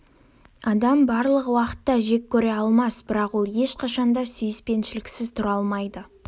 адам барлық уақытта жек көре алмас бірақ ол ешқашан да сүйіспеншіліксіз тұра алмайды